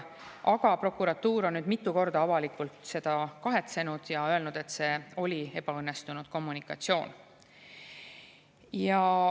Aga prokuratuur on nüüd mitu korda avalikult seda kahetsenud ja öelnud, et see oli ebaõnnestunud kommunikatsioon.